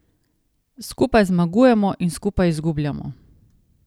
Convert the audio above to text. Skupaj zmagujemo in skupaj izgubljamo.